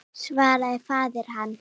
svaraði faðir hans.